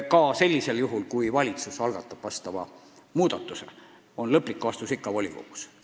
Ka siis, kui valitsus algatab sellise muudatuse, tehakse lõplik otsus ikka volikogus.